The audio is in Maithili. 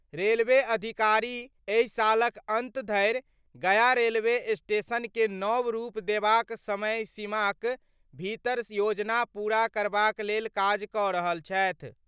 रेलवे अधिकारी एहि सालक अंत धरि गया रेलवे स्टेशनके नव रूप देबाक समयसीमाक भीतर योजना पूरा करबाक लेल काज क रहल छथि।